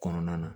Kɔnɔna na